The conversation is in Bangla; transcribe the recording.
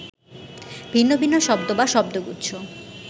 ভিন্ন ভিন্ন শব্দ বা শব্দগুচ্ছ